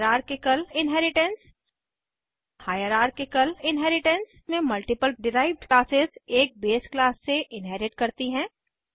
hierarchical inheritance hierarchical inheritance में multiple derived classes एक base class से इन्हेरिट करती हैं